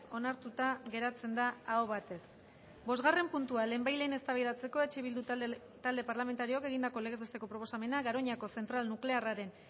onartuta geratzen da aho batez bosgarren puntua lehenbailehen eztabaidatzeko eh bildu talde parlamentarioak egindako legez besteko proposamena garoñako zentral nuklearraren